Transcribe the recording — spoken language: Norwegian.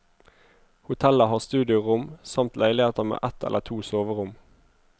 Hotellet har studiorom, samt leiligheter med ett eller to soverom.